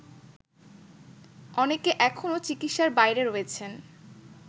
অনেকে এখনো চিকিৎসার বাইরে রয়েছেন